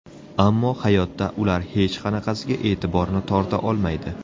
Ammo hayotda ular hech qanaqasiga e’tiborni torta olmaydi.